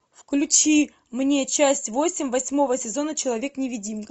включи мне часть восемь восьмого сезона человек невидимка